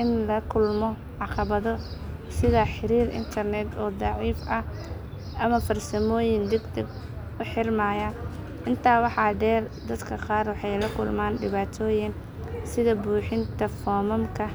in la kulmo caqabado sida xiriir internet oo daciif ah ama farsamooyin degdeg u xirmaya. Intaa waxaa dheer, dadka qaar waxay la kulmaan dhibaatooyin sida buuxinta foomamka